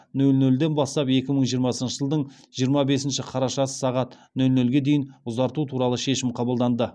нөл нөлден бастап екі мың жиырмасыншы жылдың жиырма бесінші қарашасы сағат нөл нөлге дейін ұзарту туралы шешім қабылданды